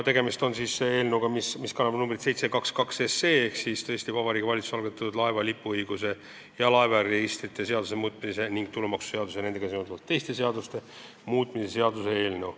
Tegemist on siis eelnõuga, mis kannab numbrit 722, ehk Vabariigi Valitsuse algatatud laeva lipuõiguse ja laevaregistrite seaduse muutmise ning tulumaksuseaduse ja nendega seonduvalt teiste seaduste muutmise seaduse eelnõuga.